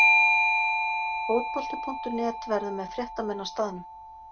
Fótbolti.net verður með fréttamenn á staðnum.